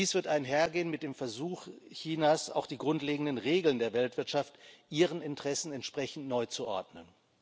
Dies wird einhergehen mit dem Versuch Chinas, auch die grundlegenden Regeln der Weltwirtschaft ihren Interessen entsprechend neu zu ordnen.